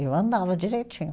Eu andava direitinho.